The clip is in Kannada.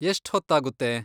ಎಷ್ಟ್ ಹೊತ್ತಾಗುತ್ತೆ?